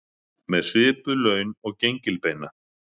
Með svipuð laun og gengilbeina